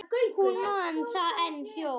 Hún man enn það hljóð.